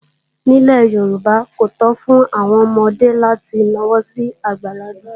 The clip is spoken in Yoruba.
Nílẹ̀ Yorùbá, kò tó fún àwọn ọmọdé láti na ọwọ́ sí àgbàlagbà